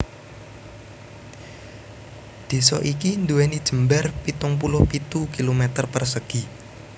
Désa iki nduwèni jembar pitung puluh pitu kilometer persegi